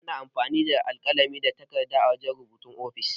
Ana amfani da alkalami da takarɗa wajan rubutu a ofis.